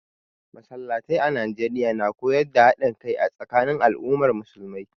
Masallatai a Najeriya na koyar da haɗin kai a tsakanin al'ummar musulmai